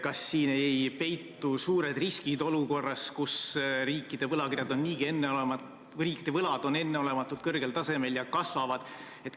Kas siin ei peitu suuri riske olukorras, kus riikide võlad on enneolematult kõrgel tasemel ja aina kasvavad?